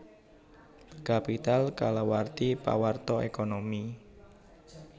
Capital kalawarti pawarta ékonomi